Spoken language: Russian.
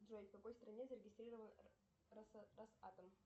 джой в какой стране зарегистрирован росатом